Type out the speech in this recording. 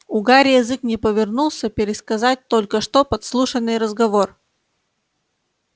у гарри язык не повернулся пересказать только что подслушанный разговор